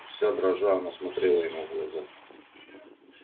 вся дрожа она смотрела ему в глаза